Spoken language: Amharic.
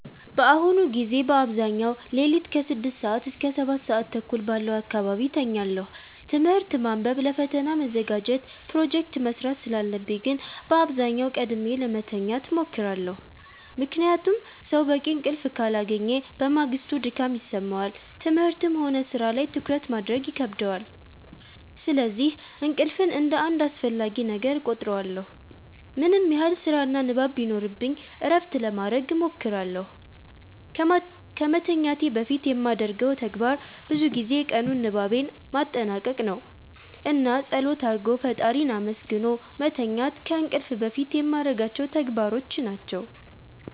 በአሁኑ ጊዜ በአብዛኛው ሌሊት ከ6 ሰዓት እስከ 7:30 ባለው አካባቢ እተኛለሁ። ትምህርት ማንበብ ለፈተና መዘጋጀት ፕሮጀክት መስራት ስላለብኝ ግን በአብዛኛው ቀድሜ ለመተኛት እሞክራለሁ። ምክንያቱም ሰው በቂ እንቅልፍ ካላገኘ በማግስቱ ድካም ይሰማዋል፣ ትምህርትም ሆነ ሥራ ላይ ትኩረት ማድረግ ይከብደዋል። ስለዚህ እንቅልፍን እንደ አንድ አስፈላጊ ነገር እቆጥረዋለሁ። ምንም ያህል ስራና ንባብ ቢኖርብኝ እረፍት ለማረግ እሞክራለሁ። ከመተኛቴ በፊት የማደርገው ተግባር ብዙ ጊዜ የቀኑን ንባቤን ማጠናቀቅ ነው። እና ፀሎት አርጎ ፈጣሪን አመስግኖ መተኛት ከእንቅልፍ በፊት የማረጋቸው ተግባሮች ናቸው።